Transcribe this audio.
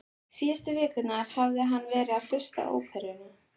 Síðustu vikurnar hafði hann verið að hlusta á óperu